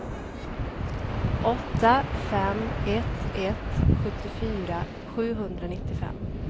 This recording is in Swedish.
åtta fem ett ett sjuttiofyra sjuhundranittiofem